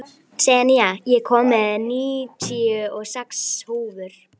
Senía, ég kom með níutíu og sex húfur!